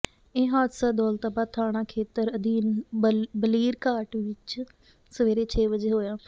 ਇਹ ਹਾਦਸਾ ਦੌਲਤਾਬਾਦ ਥਾਣਾ ਖੇਤਰ ਅਧੀਨ ਬਲੀਰਘਾਟ ਵਿੱਚ ਸਵੇਰੇ ਛੇ ਵਜੇ ਹੋਇਆ